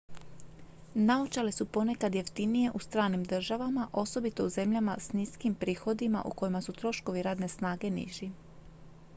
naočale su ponekad jeftinije u stranim državama osobito u zemljama s niskim prihodima u kojima su troškovi radne snage niži